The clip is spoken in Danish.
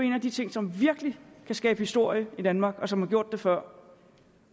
en af de ting som virkelig kan skabe historie i danmark og som har gjort det før